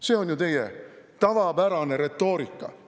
See on ju teie tavapärane retoorika.